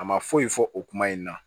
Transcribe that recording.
A ma foyi fɔ o kuma in na